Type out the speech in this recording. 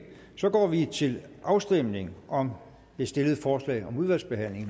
så går vi til afstemning om det stillede forslag om udvalgsbehandling